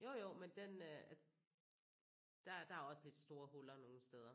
Jo jo men den øh der er der er også lidt store huller nogle steder